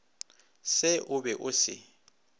se o be o se